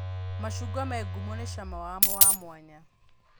Macungwa me ngumo nĩ cama wamo wa mwanya